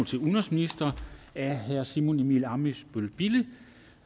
til udenrigsministeren af herre simon emil ammitzbøll bille